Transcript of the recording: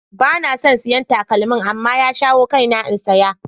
Ba na son siyan takalmin. amma ya shawo kaina in saya.